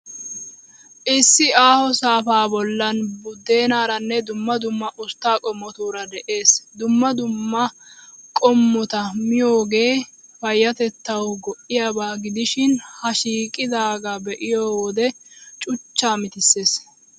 Issi aaho saafaa bollan budeenaaraanne dumma dumma ustta qommotuura de'ees. Dumma dumma qummaa qommota miyoogee payyatettawu go'iyaaba gidishin, ha shiiqidaagaa be'iyoo wode cuchchaa mitissees.